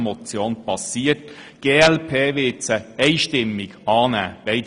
Die glp wird beide Motionen einstimmig annehmen.